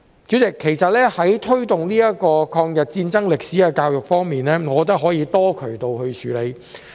主席，在推動抗日戰爭歷史的教育方面，我覺得可以多渠道處理。